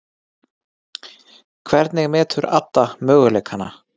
Hvernig metur Adda möguleikana?